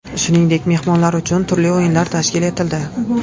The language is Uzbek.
Shuningdek, mehmonlar uchun turli o‘yinlar tashkil etildi.